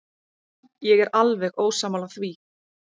Ég er alveg ósammála því.